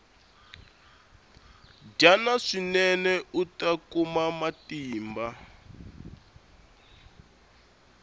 dyana swinene uta kuma matimba